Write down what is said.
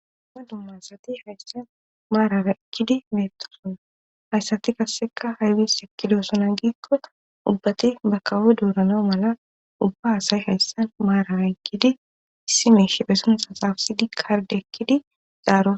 Dumma dumma asati hayssan maarara ekkidi meettosona. Ha asati qasseka aybis ekkidosona giikko ubbati ba kawo doorana mala ubba asay hayssan maarara eqqidi issi mala pheson xaafidi kaaride ekkidi zaaro.